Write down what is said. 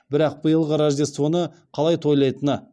бірақ биылғы рождествоны қалай тойлайтыны